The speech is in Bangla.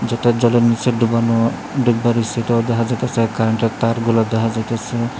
যেটা জলের নীচে ডুবানো ডিব্বা রয়েসে সেটাও দেখা যাইতেসে কারেন্টের তার গুলা দেখা যাইতেসে।